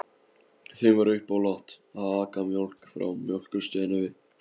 Þeim var uppálagt að aka mjólk frá Mjólkurstöðinni við